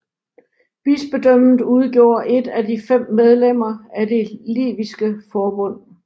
Bispedømmet udgjorde et af de fem medlemmer af det Liviske Forbund